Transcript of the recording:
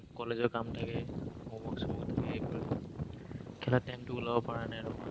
college ৰ কাম থাকে, home-work চ'ম-ৱৰ্ক থাকে, এইবোৰেই। খেলাৰ time টো ওলাব পাৰা নাই